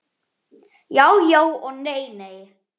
Já já og nei nei.